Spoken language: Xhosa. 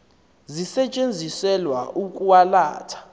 zisetyenziselwa ukwa latha